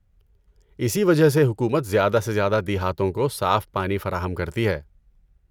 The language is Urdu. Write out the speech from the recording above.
اسی وجہ سے حکومت زیادہ سے زیادہ دیہاتوں کو صاف پانی فراہم کرتی ہے۔